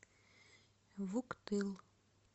вуктыл